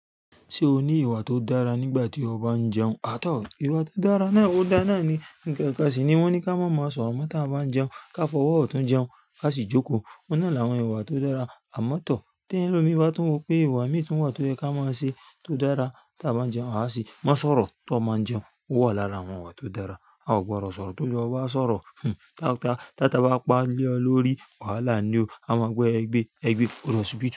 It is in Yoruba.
Ṣé o ní ìwà tó dára nígbà tí o bá ń jẹun? À tọ̀ ìwà tó dára náà o da náni. Nǹkan kan sì ni wọ́n ní kí a má má sọ̀rọ̀ mó tí a bá ń jẹun, ká fọwọ́ otuń jẹun ká sì jókòó. Óun ná láwọn ìwà tó dára àmọ́ tọ̀. Telómi bá tún wo pé ìwà mì tun wa tó dára tí a bá ń jẹun. A se, má sọ̀rọ̀ tí o mo ń jẹun. Ó wà lára àwọn ìwà tó dára. A ò gbọdọ̀ sọ̀rọ̀. Tí oluwa e ba n sọ̀rọ̀, hhn, tá-ata bá paá lẹ́ ọ lórí, wàhálà ni ó. A máa gbọ́ ẹgbẹ́ ẹgbẹ́ òdo hospital.